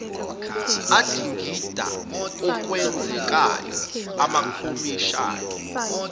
adingida okwenzekayo amakhomishani